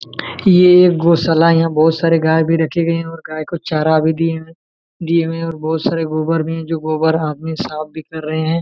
ये गौशाला है यहाँ बहुत आसरे गाय भी राखी गई और कोन चहरा भी दिए है और बहुत सारे गोबर मे जो गोबर आदमी आफ कर रहे है!